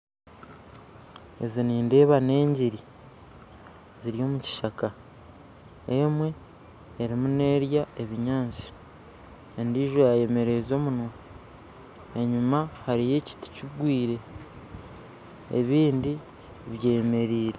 Ezi nideba nengiri z'omu kishaka we erimu nerya ebinyansi endiijo yayemereza omumwa enyima hariyo ekiti kigwire ebindi byemerire